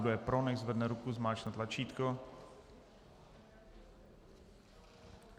Kdo je pro, nechť zvedne ruku a zmáčkne tlačítko.